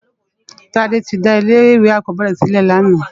Tade ti dá ilé iwé ákòbèrè silè làná